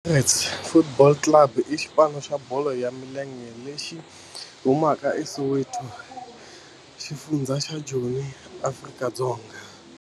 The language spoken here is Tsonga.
Orlando Pirates Football Club i xipano xa bolo ya milenge lexi humaka eSoweto, xifundzha xa Joni, Afrika-Dzonga.